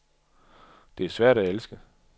Det er svært at elske.